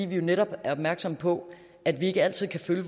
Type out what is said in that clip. vi er netop opmærksomme på at vi ikke altid kan følge